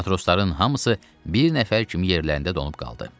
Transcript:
Matrosların hamısı bir nəfər kimi yerlərində donub qaldı.